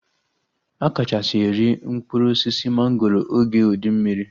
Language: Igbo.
A kachasị eri mkpụrụ osisi mangoro oge ụdị mmiri